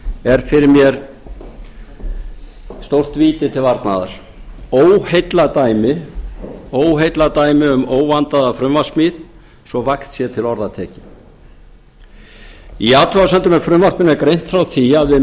er fyrir mér stórt víti til varnaðar óheilladæmi um óvandaða frumvarpssmíð svo vægt sé til orða tekið í athugasemdum með frumvarpinu er greint frá því að við